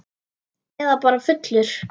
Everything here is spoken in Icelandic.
Eða bara fullur.